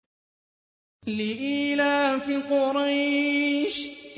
لِإِيلَافِ قُرَيْشٍ